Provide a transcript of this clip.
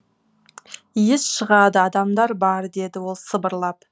иіс шығады адамдар бар деді ол сыбырлап